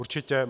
Určitě.